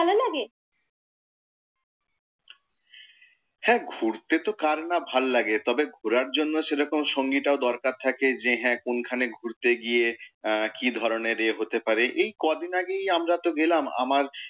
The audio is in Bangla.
হ্যাঁ ঘুরতে তো কার না ভালো লাগে. তবে ঘোরার জন্যে সেরকম সঙ্গীটা ও দরকার থাকে। যে হ্যাঁ কোন খানে ঘুরতে গিয়ে কি ধরণের য়ে হতে পারে।